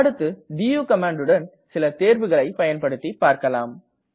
அடுத்து டு கமாண்டுடன் சில தேர்வுகளை பயன்படுத்தி பார்க்கலாம்